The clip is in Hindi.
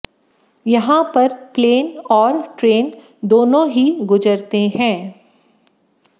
यहां पर प्लेन और ट्रेन दोनों ही गुजरते हैं